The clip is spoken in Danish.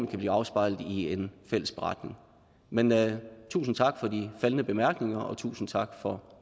blive afspejlet i en fælles beretning men tusind tak for de faldne bemærkninger og tusind tak for